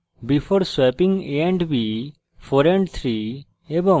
before swapping a and b 4 and 3